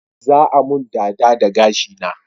Za a mun dada da gashi na